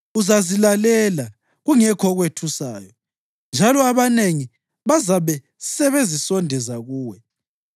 Uzazilalela, kungekho okwethusayo, njalo abanengi bazabe sebezisondeza kuwe.